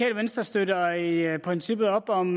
venstre støtter i i princippet op om